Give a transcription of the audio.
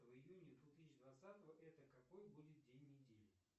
июня две тысячи двадцатого это какой будет день недели